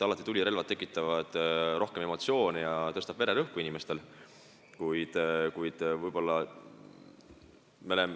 Alati tekitavad tulirelvad emotsioone ja tõstavad inimestel vererõhku.